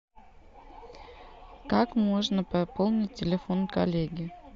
как можно пополнить телефон коллеги